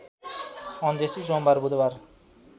अन्त्येष्टि सोमबार बुधबार